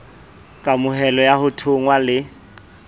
kamohelo ya ho thonngwa le